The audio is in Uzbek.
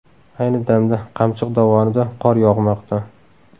Ayni damda Qamchiq dovonida qor yog‘moqda.